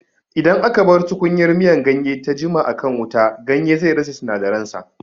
Idan aka bar tukunyar miyan ganye ta jima a kan wuta, ganye zai rasa sinadaran sa